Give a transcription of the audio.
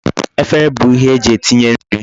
Efere bu ihe eji etinye nri